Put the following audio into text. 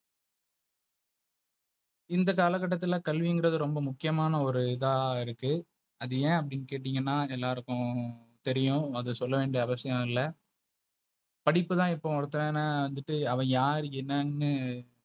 இந்த காலகட்டத்துல கல்விக்குறது ரோம்ப முக்கியம்மனா ஒரு இத இருக்கு அது ஏ அப்டினு கேட்டிங்கனா எல்லாருக்கு தெரியு அது சொல்ல வேண்டிய அவசியம் இல்ல. படிப்புத எப்போவோ ஒருத்தன நிக்க அவ யாரு என்னனு,